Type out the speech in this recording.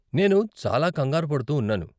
నేను చాలా కంగారు పడుతూ ఉన్నాను.